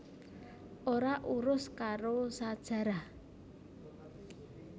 Ora urus karo sajarah